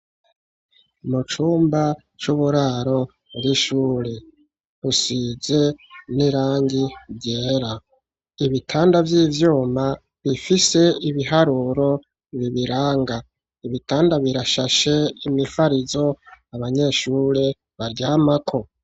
Mu cumba c'uburaro bw'ishure rusize n'irangi ryera, ibitanda vy'ivyuma bifise ibiharuro bibiranga, ibitanda birashashe imifarizo abanyeshure baryamako.